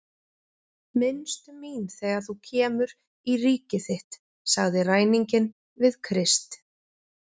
Minnstu mín þegar þú kemur í ríki þitt, sagði ræninginn við Krist.